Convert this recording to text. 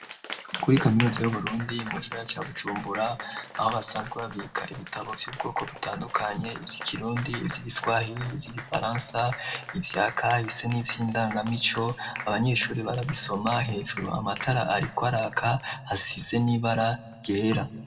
Kuri kamyuzi y' Uburundi mu gisagara ca Bujumbura, aho basanzwe babika ibitabo vy'ubwoko butandukanye, ivy' ikirundi, ivy' igiswahir, ivy' igifaransa ivyaka hise n'ivy' indangamico, abanyeshuri barabisoma, hejuru amatara ariko araka, hasize n'ibara ryera.